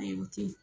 Ayi o tɛ yen